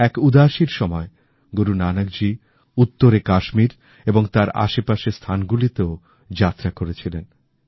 এক উদাসীর সময় গুরু নানকজী উত্তরে কাশ্মীর এবং তার আশেপাশের স্থানগুলিতেও যাত্রা করেছিলেন